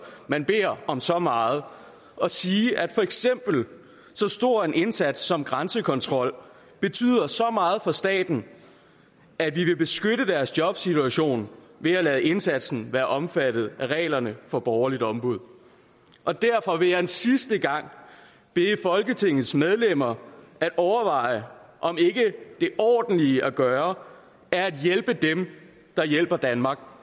man beder om så meget og sige at så stor en indsats som grænsekontrol betyder så meget for staten at vi vil beskytte deres jobsituation ved at lade indsatsen være omfattet af reglerne for borgerligt ombud og derfor vil jeg en sidste gang bede folketingets medlemmer om at overveje om ikke det ordentlige at gøre er at hjælpe dem der hjælper danmark